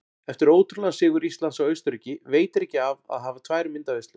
Eftir ótrúlegan sigur Íslands á Austurríki veitir ekki af að hafa tvær myndaveislur.